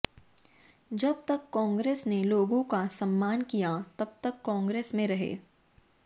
जब तक कांग्रेस ने लोगों का सम्मान किया जब तक कांग्रेस में रहे